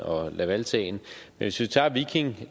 og lavalsagen hvis vi tager viking